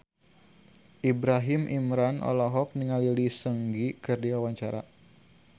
Ibrahim Imran olohok ningali Lee Seung Gi keur diwawancara